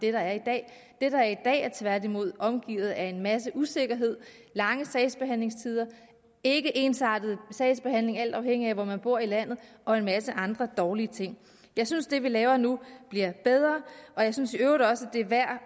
er i dag det der er i dag er tværtimod omgivet af en masse usikkerhed lange sagsbehandlingstider ikke ensartet sagsbehandling alt afhængigt af hvor man bor i landet og en masse andre dårlige ting jeg synes det vi laver nu bliver bedre og jeg synes i øvrigt også det er værd